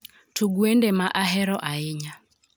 Tug wende ma ahero ahinya